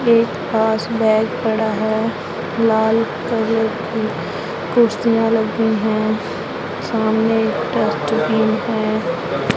एक पास बेड पड़ा है लाल कलर की कुर्सियां लगी हैं सामने डस्टबिन है।